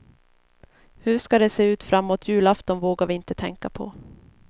Hur det ska se ut framåt julafton vågar vi inte tänka på.